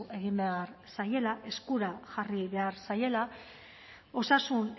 egin behar zaiela eskura jarri behar zaiela osasun